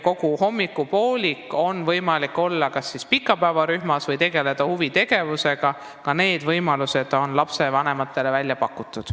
Kogu hommikupooliku oleks lastel võimalik olla kas pikapäevarühmas või tegelda huvitegevusega, ka need võimalused on lapsevanematele välja pakutud.